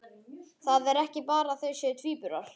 Það er ekki bara að þau séu tvíburar.